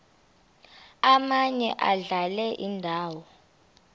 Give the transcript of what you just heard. omaye adlale indawo